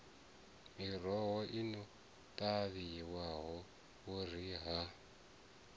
miroho i no ṱavhiwa vhuriha